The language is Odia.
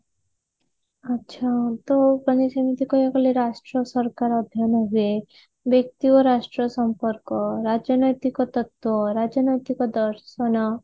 ଆଛା ଆଟ ମାନେ ଯେମିତି କହିବାକୁ ଗଲେ ରାଷ୍ଟ୍ର ସରକାର ଅଧ୍ୟୟନ ହୁଏ ବ୍ୟକ୍ତି ଓ ରାଷ୍ଟ୍ର ସମ୍ପର୍କ ରାଜନୈତିକ ତତ୍ଵ ରାଜନୈତିକ ଦର୍ଶନ